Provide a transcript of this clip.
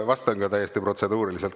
Vastan täiesti protseduuriliselt.